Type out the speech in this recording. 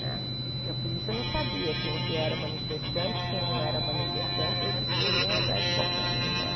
Né porque a polícia não sabia quem que era manifestante, quem não era manifestante, eles corriam atrás de qualquer um né.